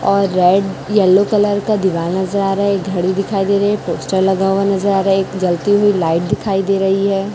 और red yellow colour का दिवाल नजर आ रहा एक घड़ी दिखाई दे रही है पोस्टर लगा हुआ नजर आ रहा एक जलती हुई लाइट दिखाई दे रही है।